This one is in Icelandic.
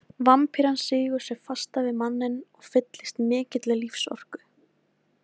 Vampíran sýgur sig fasta við manninn og fyllist mikilli lífsorku.